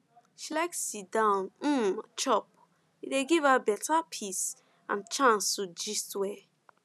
she like sitdown um chop e dey give her um peace and chance to gist well